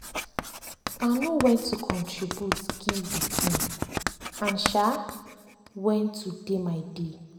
i know when to contribute give the team and um when to dey my dey.